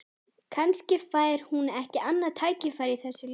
Kannski fær hún ekki annað tækifæri í þessu lífi.